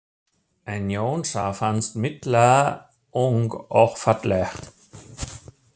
En Jónsa fannst Milla ung og falleg.